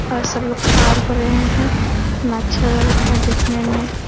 और सभी लोग पार हो रहे हैं कितना अच्छा लग रहा है देखने में।